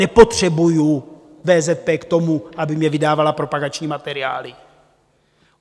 Nepotřebuji VZP k tomu, aby mně vydávala propagační materiály.